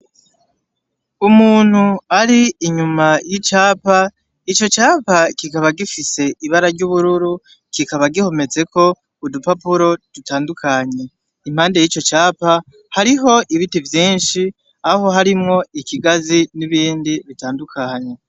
Umuntu ari inyuma y'icapa, ico capa kikaba gifise ibara ry'ubururu, kikaba gihometseko udupapuro dutandukanye. Impande y'ico capa, hariho ibiti vyinshi aho harimwo ikigazi n'ibindi bitandukanye.